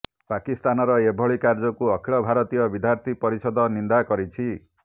ପାକିସ୍ତାନର ଏଭଳି କାର୍ଯ୍ୟକୁ ଅଖିଳ ଭାରତୀୟ ବିଦ୍ୟାର୍ଥୀ ପରିଷଦ ନିନ୍ଦାକରିଛି